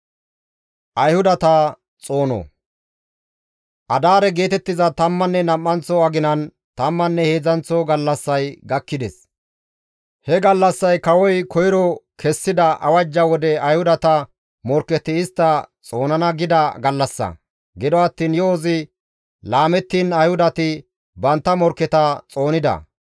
Adaare geetettiza tammanne nam7anththo aginan tammanne heedzdzanththo gallassay gakkides. He gallassay kawoy koyro kessida awajja wode Ayhudata morkketi istta xoonana gida gallassa. Gido attiin yo7ozi laamettiin Ayhudati bantta morkketa xoonida.